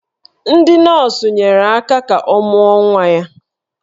Ndị nọọsụ nyere aka ka ọ mụọ nwa ya